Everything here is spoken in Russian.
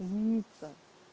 извиниться